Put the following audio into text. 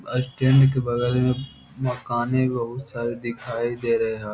बस स्टैंड के बगल में मकाने बहुत सारे दिखाई दे रहे है।